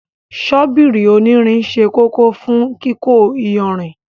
Ṣọ́bíìrì onírìn sẹ́ kòkò fún kíkó ìyànrin.